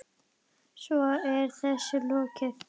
Svo er þessu lokið?